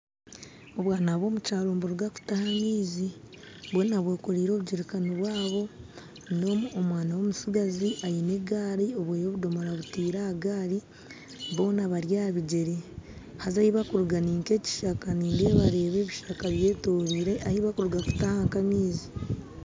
Obwaana bw'omukyaro niburuga kutaha amaizi bwona bwekoreire obujerikani bwabo n'omwaana w'omutsigazi aine egari obweye obudomora abutaire ahagari boona bari aha bigyere haza ahibakuruga ninkekyishaka nindabareba ebishaka byetorweire ahubakuruga kutaha nk'amaizi.